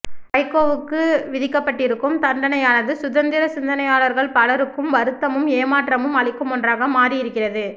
வைகோவுக்கு விதிக்கப்பட்டிருக்கும் தண்டனையானது சுதந்திரச் சிந்தனையாளர்கள் பலருக்கும் வருத்தமும் ஏமாற்றமும் அளிக்கும் ஒன்றாக மாறியிருக்கிறது